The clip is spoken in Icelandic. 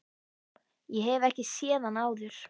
Ég hef ekki séð hann áður.